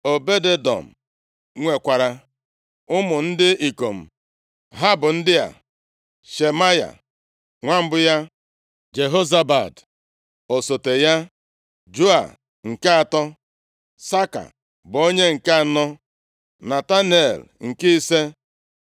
Obed-Edọm nwekwara ụmụ ndị ikom. Ha bụ ndị a: Shemaya, nwa mbụ ya, Jehozabad, osote ya, Joa, nke atọ, Saka, bụ onye nke anọ Netanel, nke ise,